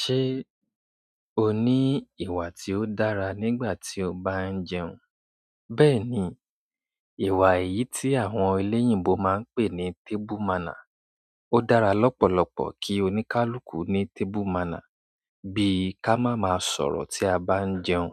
Ṣé o ní ìwà tí ó dára nígbà tí o bá ń jẹun? Bẹ́ẹ̀ni, ìwà èyí tí àwọn eléyìnbo máa ń pè ní table manner. Ó dára lọ́pọ̀lọpọ̀ kí oníkálukú ní table manner bí ká máa máa sọ̀rọ̀ tí a bá ń jẹun,